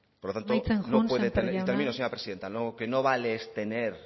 por lo tanto amaitzen joan sémper jauna termino señora presidenta lo que no vale es tener